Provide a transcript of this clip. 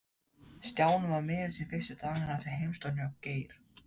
Stjáni var miður sín fyrstu dagana eftir heimsóknina hjá Geir.